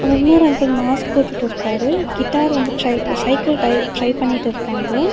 அதல இன்னொரு uncle mask போட்டுட்டுருக்காரு கிட்டார் வந்து ட்ரை சைக்கிள் டயர் ட்ரை பண்ணிட்டிருக்காங்க.